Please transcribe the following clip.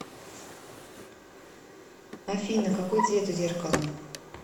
афина какой цвет у зеркала